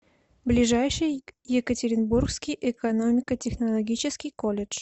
ближайший екатеринбургский экономико технологический колледж